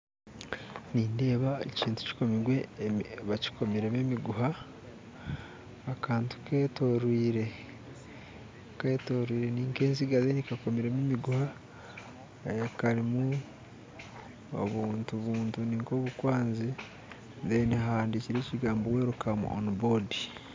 Nindeeba ekintu bakikomiremu emiguha akantu ketooriire enziga kandi kakomirwemu emiguha karimu obuntu buri nk'obukwazi kandi hahandikirweho ebigambo welcome on board